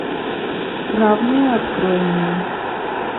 равные открой мне